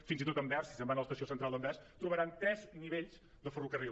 fins i tot a anvers si se’n van a l’es·tació central d’anvers trobaran tres nivells de ferrocarril